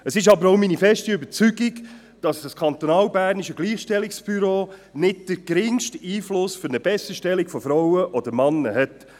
Es ist aber auch meine feste Überzeugung, dass das kantonalbernische Gleichstellungsbüro nicht den geringsten Einfluss auf eine Besserstellung von Frauen oder Männern hat.